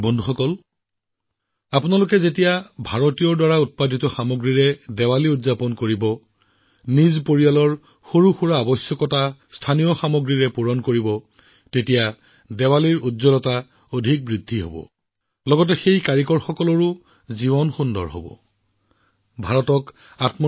বন্ধুসকল যেতিয়া আপোনালোকে ভাৰতত নিৰ্মিত ভাৰতীয়ৰ দ্বাৰা নিৰ্মিত সামগ্ৰীৰে আপোনালোকৰ দীপাৱলী পোহৰাই তুলিব আৰু স্থানীয়ভাৱে আপোনালোকৰ পৰিয়ালৰ প্ৰতিটো সৰু সৰু প্ৰয়োজন পূৰণ কৰিব তেতিয়া দীপাৱলীৰ উজ্বলতা বাঢ়িব কিন্তু সেই শিপিনীসকলৰ জীৱনত এক নতুন দীপাৱলী আহিব জীৱনৰ এক নতুন প্ৰভাত আহিব তেওঁলোকৰ জীৱন আচৰিত হৈ পৰিব